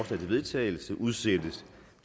til vedtagelse udsættes